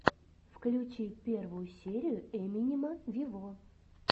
включи первую серию эминема вево